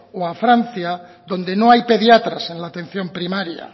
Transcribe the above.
o a francia donde no hay pediatras en la atención primaria